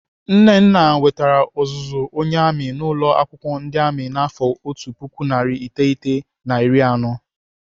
Nnana nwetere ọzụzụ onye amị n'ụlọ akwụkwọ ndị amị n'afọ otu puku narị iteghete na iri anọ.